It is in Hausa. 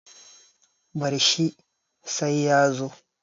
bar shi sai ya zo